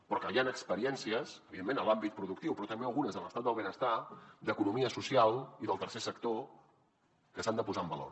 però que hi han experiències evidentment en l’àmbit productiu però també algunes de l’estat del benestar d’economia social i del tercer sector que s’han de posar en valor